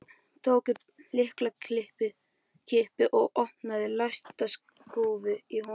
Tók upp lyklakippu og opnaði læsta skúffu í honum.